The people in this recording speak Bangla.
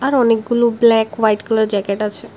আর অনেকগুলো ব্ল্যাক হোয়াইট কালার জ্যাকেট আছে।